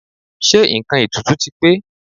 Ṣé nǹkan ètùtù ti pé?